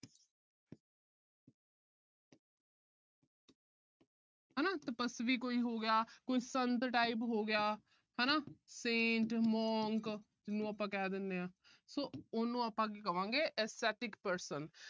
ਹਨਾ ਤਪਸਵੀ ਕੋਈ ਹੋ ਗਿਆ। ਕੋਈ ਸੰਤ type ਹੋ ਗਿਆ ਹਨਾ। saint monk ਨੂੰ ਆਪਾ ਕਹਿ ਦਿੰਦੇ ਆ so ਆਪਾ ਕੀ ਕਹਾਂਗੇ aesthetic person